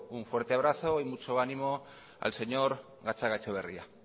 un fuerte abrazo y mucho ánimo al señor gatzagaetxebarria